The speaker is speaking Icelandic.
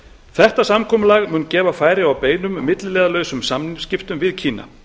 þetta samkomulag mun gefa færi á beinum milliliðalausum samningsskiptum við kína